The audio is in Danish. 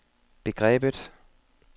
begrebet